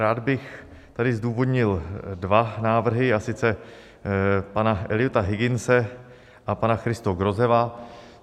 Rád bych tady zdůvodnil dva návrhy, a sice pana Eliota Higginse a pana Christo Grozeva.